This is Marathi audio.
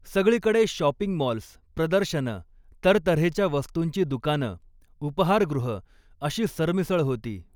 सगळीकडे शॉपिंग मॉल्स, प्रदर्शनं, तरतऱ्हेच्या वस्तूंची दुकानं, उपहारगृहं अशी सरमिसळ होती.